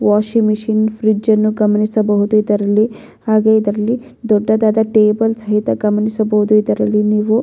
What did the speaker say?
Washing machine fridge ಅನ್ನು ಗಮನಿಸಬಹುದು ಇದರಲ್ಲಿ ಹಾಗೆ ಇದರಲ್ಲಿ ದೊಡ್ಡದಾದ ಟೇಬಲ್ ಸಹಿತ ಗಮನಿಸಬಹುದು ಇದರಲ್ಲಿ ನೀವು.